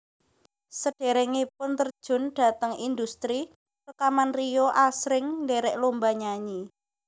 Saderengipun terjun dhateng indhustri rekaman Rio asring ndherek lomba nyanyi